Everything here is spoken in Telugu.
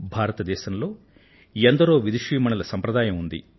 భారతదేశంలో ఎందరో విదుషీమణుల సంప్రదాయం ఉంది